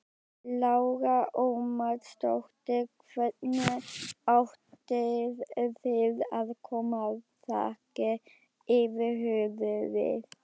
Lára Ómarsdóttir: Hvernig ætið þið að koma þaki yfir höfuðið?